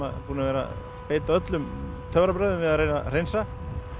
búnir að vera að beita öllum töfrabrögðum við að reyna að hreinsa